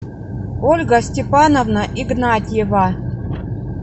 ольга степановна игнатьева